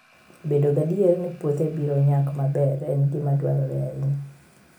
Bedo gadier ni puothe biro nyak maber en gima dwarore ahinya.